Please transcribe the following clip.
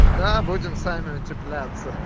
да будем сами утеплятся